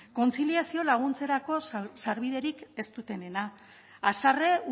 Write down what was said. kontziliazio laguntzerako sarbiderik ez dutenena haserre